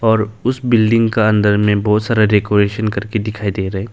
और उस बिल्डिंग का अंदर में बहोत सारा डेकोरेशन करके दिखाई दे रहा है।